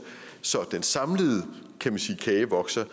så den samlede kage vokser